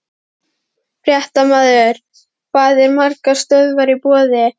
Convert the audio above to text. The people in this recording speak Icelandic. Fréttamaður: Hvað eru margar stöðvar í boði?